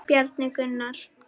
Bjarni Gunnar.